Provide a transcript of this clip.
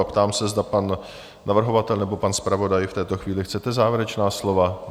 A ptám se, zda pan navrhovatel nebo pan zpravodaj v této chvíli, chcete závěrečná slova?